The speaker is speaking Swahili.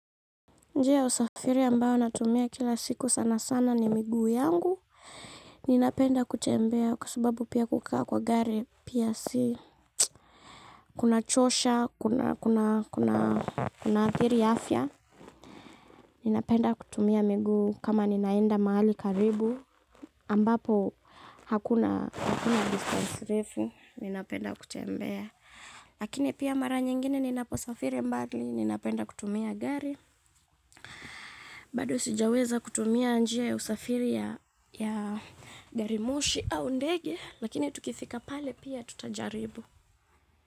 Njia ya usafiri ambayo natumia kila siku sana sana ni miguu yangu, ninapenda kutembea kwa sababu pia kukaa kwa gari, pia si. Kunachosha, kunaathiri afya, ninapenda kutumia miguu kama ninaenda mahali karibu ambapo hakuna distance refu, ninapenda kutembea. Lakini pia mara nyingine ninaposafiri mbali ninapenda kutumia gari. Bado sijaweza kutumia njia ya usafiri ya garimoshi au ndege lakini tukifika pale pia tutajaribu.